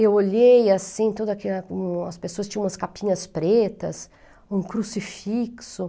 Eu olhei assim, toda as pessoas tinham umas capinhas pretas, um crucifixo.